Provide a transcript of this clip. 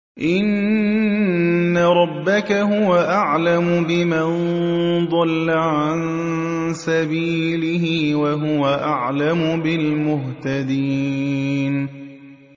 إِنَّ رَبَّكَ هُوَ أَعْلَمُ بِمَن ضَلَّ عَن سَبِيلِهِ وَهُوَ أَعْلَمُ بِالْمُهْتَدِينَ